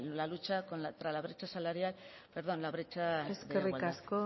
la lucha contra la brecha de igualdad eskerrik asko